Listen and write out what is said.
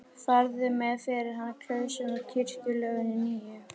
Farðu með fyrir hann klausuna úr kirkjulögunum nýju.